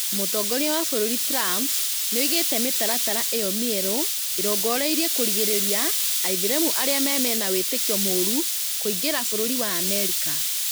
Mũtongoria wa bũrũri Trump nĩoigĩte mĩtaratara ĩyo mĩero ĩrongoreirie kũrigĩrĩria Aithĩramu arĩa mena wĩtĩkio mũũru kuingĩria bũrũri wa Amerika